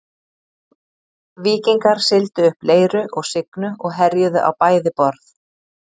Víkingar sigldu upp Leiru og Signu og herjuðu á bæði borð.